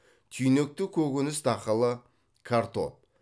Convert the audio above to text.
түйнекті көкөніс дақылы картоп